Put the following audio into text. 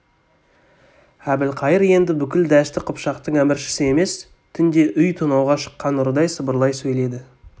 әбілқайыр енді бүкіл дәшті қыпшақтың әміршісі емес түнде үй тонауға шыққан ұрыдай сыбырлай сөйледі